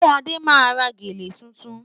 Sé Ade máa ra gèlè tuntun?